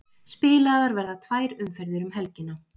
Spilaðar verða tvær umferðir um helgina